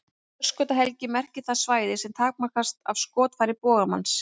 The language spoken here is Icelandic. Örskotshelgi merkir það svæði sem takmarkast af skotfæri bogmanns.